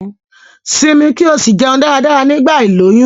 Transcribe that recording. Simi ki o si jeun dáradára nigba iloyun